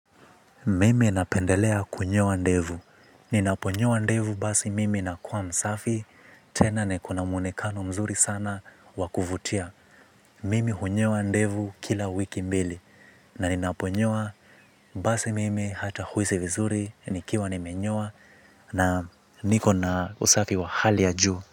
Mimi napendelea kunyoa ndevu, ninaponyoa ndevu basi mimi nakuwa msafi tena niko na mwonekano mzuri sana wa kuvutia mimi hunyoa ndevu kila wiki mbili, na ninaponyoa basi mimi hata huhisi vizuri, nikiwa nimenyoa, na niko na usafi wa hali ya juu.